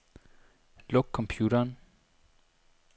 Luk computeren.